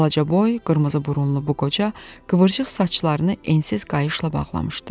Balacaboy, qırmızıburunlu bu qoca qıvrıq saçlarını ensiz qayışla bağlamışdı.